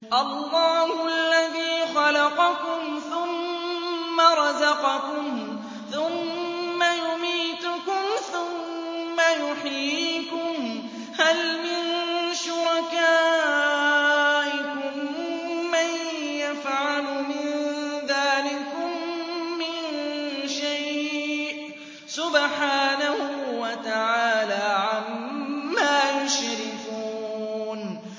اللَّهُ الَّذِي خَلَقَكُمْ ثُمَّ رَزَقَكُمْ ثُمَّ يُمِيتُكُمْ ثُمَّ يُحْيِيكُمْ ۖ هَلْ مِن شُرَكَائِكُم مَّن يَفْعَلُ مِن ذَٰلِكُم مِّن شَيْءٍ ۚ سُبْحَانَهُ وَتَعَالَىٰ عَمَّا يُشْرِكُونَ